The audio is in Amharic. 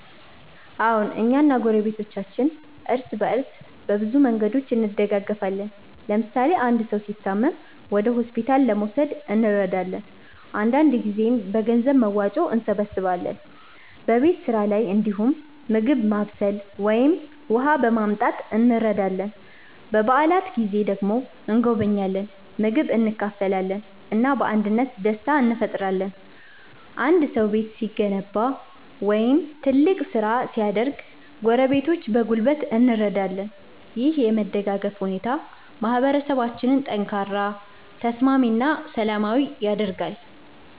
አዎን፣ እኛ እና ጎረቤቶቻችን እርስ በእርስ በብዙ መንገዶች እንደጋገፋለን። ለምሳሌ አንድ ሰው ሲታመም ወደ ሆስፒታል ለመውሰድ እንረዳለን፣ አንዳንድ ጊዜም በገንዘብ መዋጮ እንሰብስባለን። በቤት ስራ ላይ እንዲሁም ምግብ ማብሰል ወይም የውሃ ማመጣት እንረዳዳለን። በዓላት ጊዜ ደግሞ እንጎበኛለን፣ ምግብ እንካፈላለን እና በአንድነት ደስታ እንፈጥራለን። አንድ ሰው ቤት ሲገነባ ወይም ትልቅ ስራ ሲያደርግ ጎረቤቶች በጉልበት እንረዳለን። ይህ የመደጋገፍ ሁኔታ ማህበረሰባችንን ጠንካራ፣ ተስማሚ እና ሰላማዊ ያደርጋል።